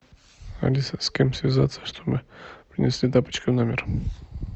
алиса с кем связаться чтобы принесли тапочки в номер